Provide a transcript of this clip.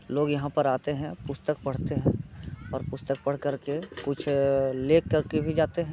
लोग यहाँ पर आते हैंपुस्तक पढ़ते हैं और पुस्तक पढ़ करके कुछ ले कर के भी जाते हैं।